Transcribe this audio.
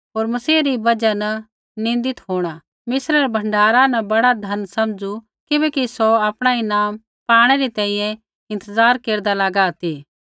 होर मसीह री बजहा न निन्दित होंणा मिस्रै रै भण्डारा न बड़ा धन समझू किबैकि सौ आपणा ईनाम पाणै री तैंईंयैं इंतज़ार केरदा लागा ती